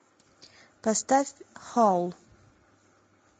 поставь хоул